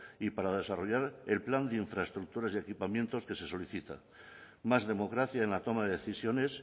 y para desarrollar el plan de infraestructuras y equipamiento que se solicitan más democracia en la toma de decisiones